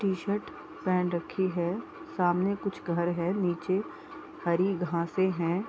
T-shirt पहन रखी है सामने कुछ घर है नीचे हरी घासें हैं ।